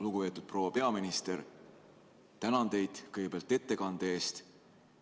Lugupeetud proua peaminister, kõigepealt ma tänan ettekande eest!